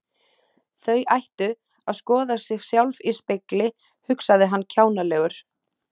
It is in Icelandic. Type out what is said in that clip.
Þau ættu að skoða sig sjálf í spegli, hugsaði hann kjánalegur.